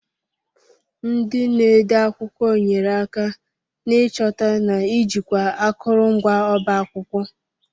Ndị na-ede akwụkwọ nyere aka n'ịchọta na ijikwa akụrụngwa ọba akwụkwọ.